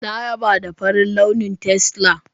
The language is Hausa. Na yaba da farin launi tesla.